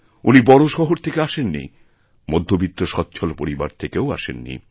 উনি বড় শহর থেকে আসেন নিমধ্যবিত্ত স্বচ্ছ্বল পরিবার থেকেও আসেন নি